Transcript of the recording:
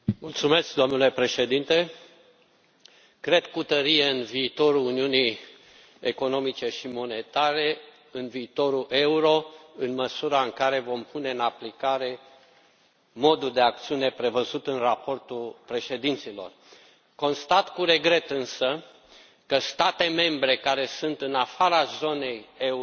Domnule președinte, cred cu tărie în viitorul uniunii economice și monetare, în viitorul euro, în măsura în care vom pune în aplicare modul de acțiune prevăzut în raportul președinților. Constat cu regret însă că state membre care sunt în afara zonei euro